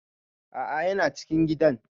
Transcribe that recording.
A'a yana cikin gidan